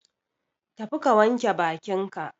Tafi ka wanke bakin ka.